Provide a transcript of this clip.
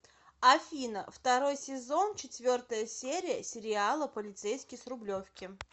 афина второй сезон четвертая серия сериала полицейский с рублевки